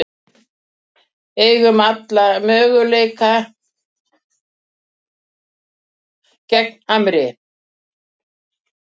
Eigum alla möguleika gegn Hamri